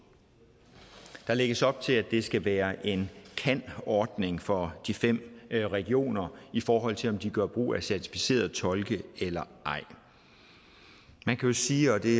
der lægges op til at det skal være en kan ordning for de fem regioner i forhold til om de gør brug af certificerede tolke eller ej man kan jo sige og det